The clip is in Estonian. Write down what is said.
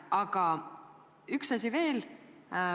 Aga üks asi veel.